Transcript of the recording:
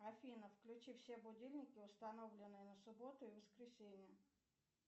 афина включи все будильники установленные на субботу и воскресенье